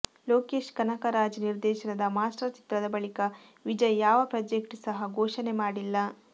ಲೋಕೇಶ್ ಕನಕರಾಜ್ ನಿರ್ದೇಶನದ ಮಾಸ್ಟರ್ ಚಿತ್ರದ ಬಳಿಕ ವಿಜಯ್ ಯಾವ ಪ್ರಾಜೆಕ್ಟ್ ಸಹ ಘೋಷಣೆ ಮಾಡಿಲ್ಲ